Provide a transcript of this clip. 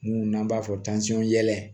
Mun n'an b'a fɔ yɛlɛ